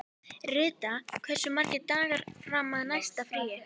Rita, hversu margir dagar fram að næsta fríi?